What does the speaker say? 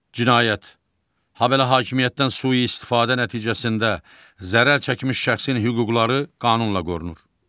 Cinayət, habelə hakimiyyətdən sui-istifadə nəticəsində zərər çəkmiş şəxsin hüquqları qanunla qorunur.